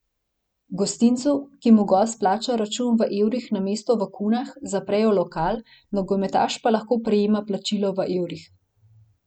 Gostincu, ki mu gost plača račun v evrih namesto v kunah, zaprejo lokal, nogometaš pa lahko prejema plačilo v evrih.